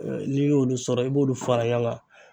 N'i y'olu sɔrɔ i b'olu fara yankan.